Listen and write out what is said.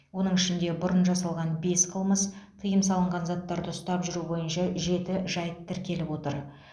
оның ішінде бұрын жасалған бес қылмыс тыйым салынған заттарды ұстап жүру бойынша жеті жайт тіркеліп отыр